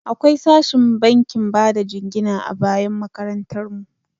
Akwai sashin bankin bada jingina a bayan makarantar mu.